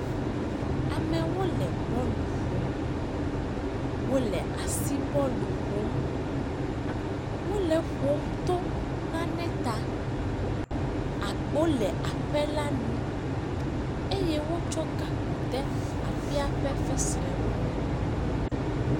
Amewo le bɔlu ƒom, wole asibɔlu ƒom, wole eƒom to nane ta, agbo le aƒe la nu eye wotsɔ gakpo de aƒe ƒe fesre me.